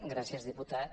gràcies diputat